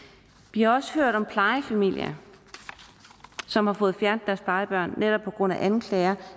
vi har også hørt om plejefamilier som har fået fjernet plejebørn netop på grund af anklager